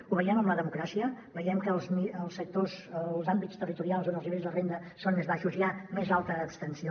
ho veiem amb la democràcia veiem que en els àmbits territorials on els nivells de renda són més baixos hi a més alta abstenció